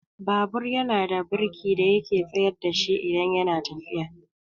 Babur yana da birki da yake tsayar dashi idan yana tafiya.